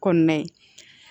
Kɔnɔna in